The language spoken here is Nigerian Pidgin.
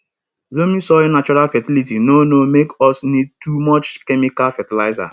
loamy soil natural fertility no no make us need too much chemical fertilizer